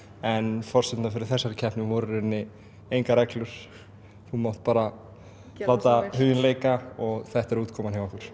forsendurnar fyrir þessari keppni voru í rauninni engar reglur þú mátt bara láta hugann reika og þetta er útkoman hjá okkur